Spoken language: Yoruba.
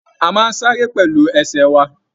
A máa n sáré pẹlú ẹsẹ wa